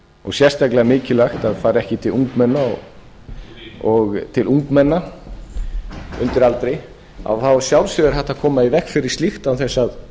og sérstaklega mikilvægt að fari ekki til ungmenna undir aldri að þá að sjálfsögðu er hægt að koma í veg fyrir slíkt án þess að